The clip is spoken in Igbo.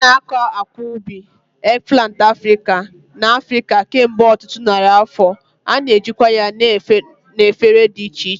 A na-akọ akwa ubi, eggplant Africa, n'Africa kemgbe ọtụtụ narị afọ, a na-ejikwa ya na efere dị iche iche.